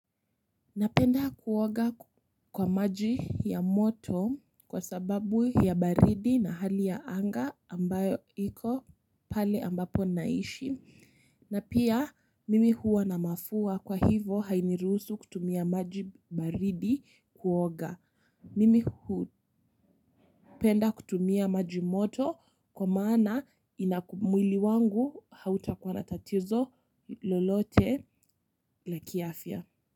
Napenda kuoga kwa maji ya moto kwa sababu ya baridi na hali ya anga ambayo iko pale ambapo naishi na pia mimi huwa na mafua kwa hivo hainiruhusu kutumia maji baridi kuoga mimi hupenda kutumia maji moto kwa maana inaku mwili wangu hautakuwa na tatizo lolote la kiafya.